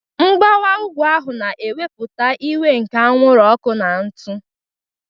Mgbawa ugwu ahu na-ewepụta iwe nke anwụrụ ọkụ na ntụ.